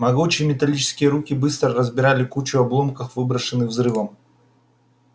могучие металлические руки быстро разбирали кучу обломков выброшенных взрывом